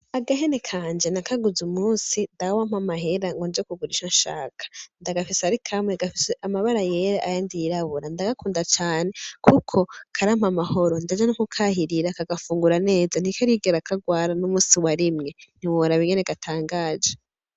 Agahene kanje nakaguze umunsi dawe ampa amahera ngo nje kugura ico nshaka, ndagafise ari kamwe gafise amabara yera ayandi yirabura ndagakunda cane kuko karampa amahoro ndaja no kukahirira kagafungura neza ntikarigera kagwara numusi wa rimwe ntiworaba ukuntu gatangaje.